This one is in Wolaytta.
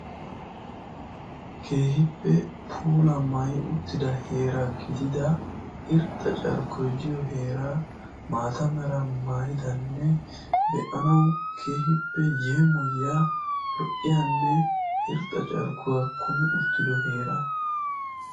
keehippe puula maayyi uttida heeraa gidida irxxa carkkoy diyo heeraa maata mera maayyidanne be'anaw keehippe yeemoyiyya lo"iyaanne irxxa carkkuwa kummi uttido heeraa.